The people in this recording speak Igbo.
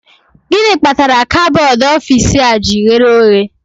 Gịnị kpatara kabọọdụ ọfici a ji ghere oghe?